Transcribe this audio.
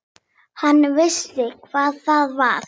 Hann vissi hvað það var.